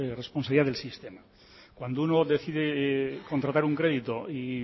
responsabilidad del sistema cuando uno decide contratar un crédito y